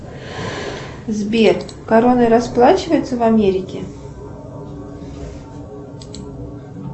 сбер короной расплачиваются в америке